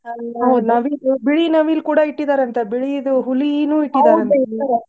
ಆ ಮೇಲೆ ಬಿಳಿ ನವಿಲು ಕೂಡಾ ಇಟ್ಟಿದಾರಂತೆ ಬಿಳಿದು ಹುಲಿನು ಇಟ್ಟಿದ್ದರಂತೆ .